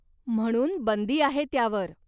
म्हणून बंदी आहे त्यावर.